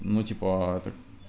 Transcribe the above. ну типа это